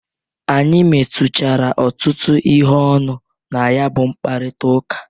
Anyị metuchara ọtụtu ihe ọnụ na ya bụ mkparita ụka.